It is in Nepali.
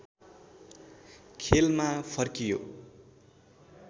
खेलमा फर्कियो